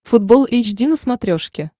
футбол эйч ди на смотрешке